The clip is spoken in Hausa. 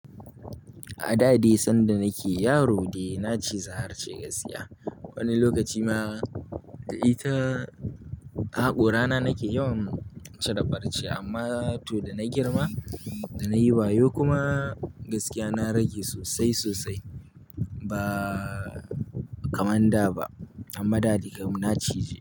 A da dai sanda nake yaro dai na ciza harce gaskiya. Wani lokaci ma da ita, haƙorana nake yawan cire farce amma to da na girma, da nayi wayo kuma gaskiya na rage sosai sosai ba kamar da ba amma dai kam na cije.